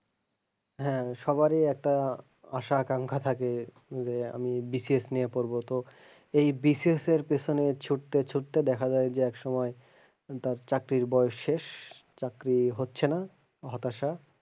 হ্যাঁ সবারই একটা আশা আকাঙ্খা থাকে যে আমি BCS নিয়ে পড়বো তো এই BCS এর পেছনে ছুটতে ছুটতে দেখা যায় যে এক সময়ে তার চাকরির বয়েস শেষ তার চাকরি হচ্ছে না হতাসা,